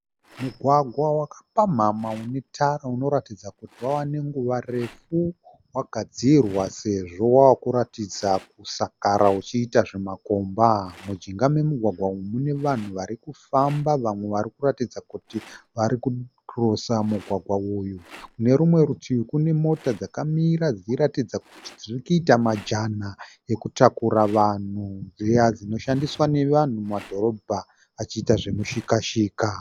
Mugwagwa wakapamhamha une tara unoratidza kuti wave nenguva refu wagadzirwa sezvo wavakuratidza kusakara uchiita zvimakomba. Mujinga memugwagwa uyu mune vanhu varikufamba vamwe varikuratidza kuti vari kukirosa mugwagwa uyu. Kune rumwe rutivi kune mota dzakamira dziri kuratidza kuti dzirikuita majana ekutakura vanhu dziya dzinoshandiswa nevanhu mumadhorobha vachiita zvemushika shika.